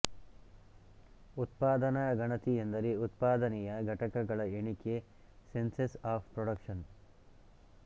ಉತ್ಪಾದನ ಗಣತಿ ಎಂದರೆ ಉತ್ಪಾದನೆಯ ಘಟಕಗಳ ಎಣಿಕೆ ಸೆನ್ಸಸ್ ಆಫ್ ಪ್ರೊಡಕ್ಷನ್